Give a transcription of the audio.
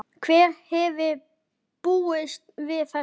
Hver hefði búist við þessu?